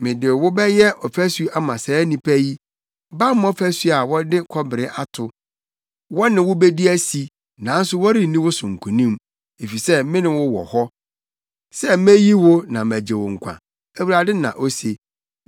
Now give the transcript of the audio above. Mede wo bɛyɛ ɔfasu ama saa nnipa yi, bammɔ fasu a wɔde kɔbere ato; wɔne wo bedi asi nanso wɔrenni wo so nkonim, efisɛ me ne wo wɔ hɔ sɛ meyi wo na magye wo nkwa,” Awurade, na ose.